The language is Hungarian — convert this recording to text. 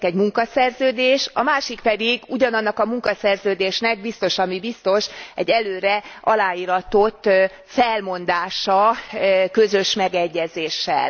Az egyik egy munkaszerződés, a másik pedig ugyanannak a munkaszerződésnek biztos, ami biztos egy előre aláíratott felmondása közös megegyezéssel.